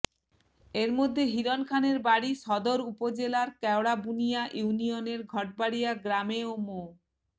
এরমধ্যে হিরণ খানের বাড়ি সদর উপজেলার কেওড়াবুনিয়া ইউনিয়নের ঘটবাড়িয়া গ্রামে ও মো